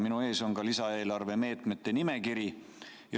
Minu ees on lisaeelarve meetmete nimekiri.